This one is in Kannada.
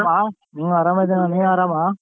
ಅರಾಮ ಹೂ ಅರಾಮಿದಿನ್ ನೀವ್ ಅರಾಮ?